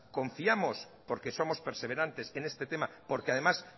confiamos porque somos perseverantes en este tema porque además